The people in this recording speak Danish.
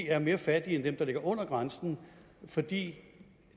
er mere fattige end dem der ligger under grænsen fordi